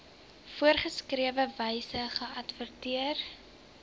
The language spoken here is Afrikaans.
voorgeskrewe wyse geadverteer